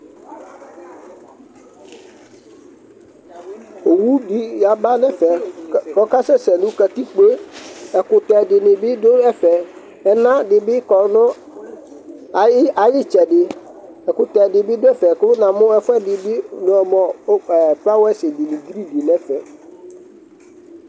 Owu di yaba n'ɛfɛ k'ɔkasɛsɛ nʋ katikpo yɛ Ɛkʋtɛ dini bi dʋ ɛfɛ, ɛna di bi kɔ n'ay'itsɛdi, ɛkʋtɛ di ni dʋ ɛfɛ kʋ namu ɛfuɛdi bi mʋ mʋ fowers dini green di n'ɛfɛ